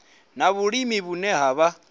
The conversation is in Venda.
na vhulimi vhune ha vha